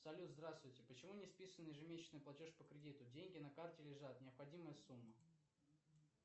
салют здравствуйте почему не списан ежемесячный платеж по кредиту деньги на карте лежат необходимая сумма